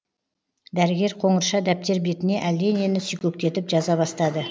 дәрігер қоңырша дәптер бетіне әлденені сүйкектетіп жаза бастады